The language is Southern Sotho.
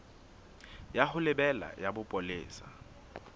ya ho lebela ya bopolesa